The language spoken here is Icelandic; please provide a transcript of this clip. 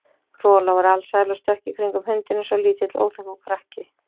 Rola var alsæl og stökk í kringum hundinn eins og lítill óþekkur krakki.